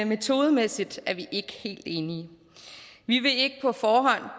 metodemæssigt er vi ikke helt enige vi vil ikke på forhånd